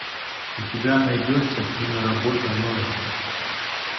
у тебя найдется киноработа ной